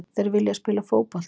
Þeir vilja spila fótbolta.